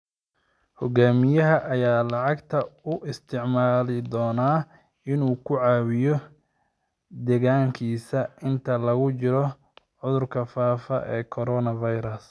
Hogaamiyaha ayaa lacagta u isticmaali doona inuu ku caawiyo deegaankiisa inta lagu jiro cudurka faafa ee coronavirus.